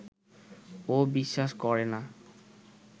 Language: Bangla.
ও বিশ্বাস করে না